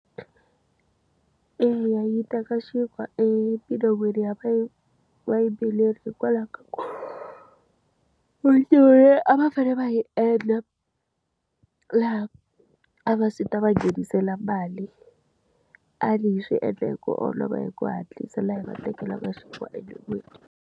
Eya yi teka xinkwa emilon'wini ya vayimbeleri hikwalaho ka ku a va fanele va yi e endla laha a va ta va nghenisela mali. A_I yi swi endla hi ku olova hi ku hatlisa laha yi va tekelaka swinkwa emilon'wini.